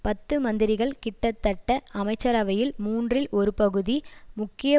பத்து மந்திரிகள் கிட்டத்தட்ட அமைச்சரவையில் மூன்றில் ஒரு பகுதி முக்கிய